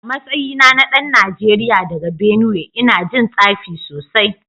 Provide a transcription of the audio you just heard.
A matsayina na dan Najeriya daga Benue ina jin tsafi sosai